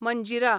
Manjira